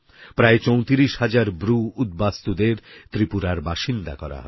প্রায় ৩৪০০০ ব্রুউদ্বাস্তুদের ত্রিপুরার বাসিন্দা করা হবে